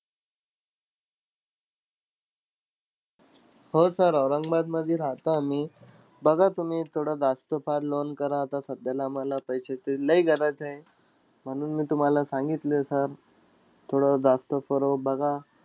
हो sir औरंगाबादमधी राहता आम्ही. बघा तुम्ही, थोडं जास्त फार loan करा. आता सध्याला मला पैशाची लय गरज आहे, म्हणून मी तुम्हाला सांगितलं sir. थोडं जास्त बघा.